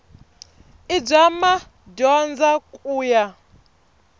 i bya madyondza ku ya